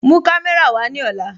Mú kàmẹ̀rà wa ni ọ̀là